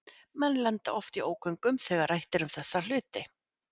menn lenda oft í ógöngum þegar rætt er um hluti sem þessa